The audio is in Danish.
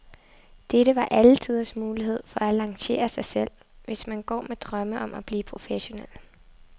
Dette var alle tiders mulighed for at lancere sig selv, hvis man går med drømme om at blive professionel.